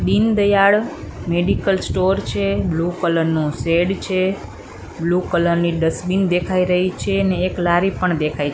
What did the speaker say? Deendayal medical store છે blue colour નો shade છે બ્લુ કલર ની ડસ્ટબીન દેખાય રહી છે ને એક લારી પણ દેખાય--